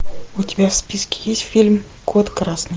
у тебя в списке есть фильм кот красный